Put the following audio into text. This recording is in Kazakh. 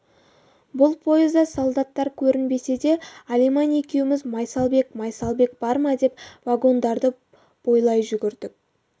бұл пойызда солдаттар көрінбесе де алиман екеуміз майсалбек майсалбек бар ма деп вагондарды бойлай жүгірдік